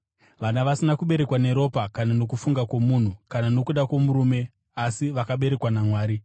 vana vasina kuberekwa neropa kana nokufunga kwomunhu kana nokuda kwomurume, asi vakaberekwa naMwari.